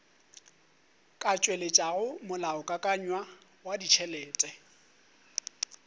ka tšweletšago molaokakanywa wa ditšhelete